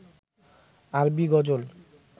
আরবি গজল